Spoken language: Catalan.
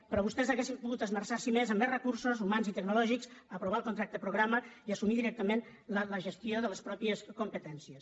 però vostès haurien pogut esmerçar s’hi més amb més recursos humans i tecnològics aprovar el contracte programa i assumir directament la gestió de les pròpies competències